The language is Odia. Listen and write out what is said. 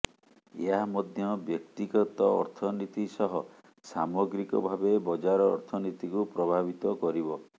ଏହା ମଧ୍ୟ ବ୍ୟକ୍ତିଗତ ଅର୍ଥନୀତି ସହ ସାମଗ୍ରିକ ଭାବେ ବଜାର ଅର୍ଥନୀତିକୁ ପ୍ରଭାବିତ କରିବ